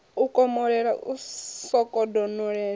u komolela u sokou donolela